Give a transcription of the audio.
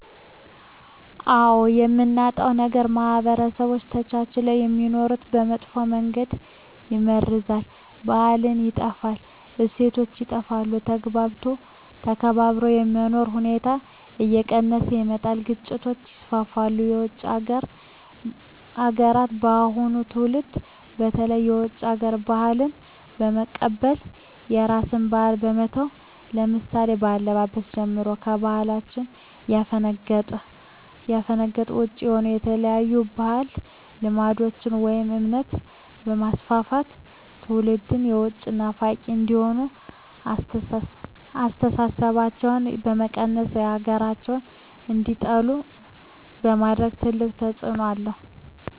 አዎ የምናጣው ነገር ማህበረሰቦች ተቻችለው የሚኖሩትን በመጥፎ መንገድ ይመርዛል , ባህላችን ይጠፋል, እሴቶች ይጠፋሉ, ተግባብቶ ተከባብሮ የመኖር ሁኔታዎች እየቀነሰ ይመጣል ግጭቶች ይስፋፋሉ። የውጭ ሀገራትን የአሁኑ ትውልድ በተለይ የውጭ ሀገር ባህልን በመቀበል የራስን ባህል በመተው ለምሳሌ ከአለባበስ ጀምሮ ከባህላችን ያፈነገጠ ውጭ የሆነ የተለያዩ ባህድ አምልኮቶችን ወይም እምነት በማስፋፋት ትውልድም የውጭ ናፋቂ እንዲሆኑ አስተሳሰባቸው በመቀየር ሀገራቸውን እንዲጠሉ በማድረግ ትልቅ ተፅዕኖ አለው።